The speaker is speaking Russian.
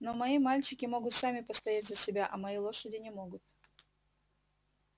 но мои мальчики могут сами постоять за себя а мои лошади не могут